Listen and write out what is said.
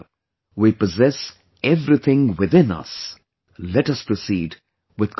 We possess everything within us, let us proceed with confidence